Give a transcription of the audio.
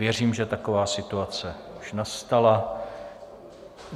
Věřím, že taková situace už nastala.